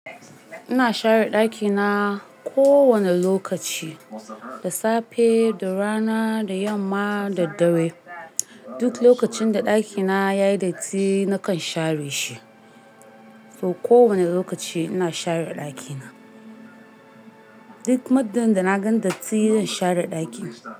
Ina share dakina kowane lokaci, da safe, da rana, da yamma, da dare. Duk lokacin da dakina yayi datti nakan share shi. So kowane lokaci ina share dakina. Duk muddin da na gan datti zan share daki.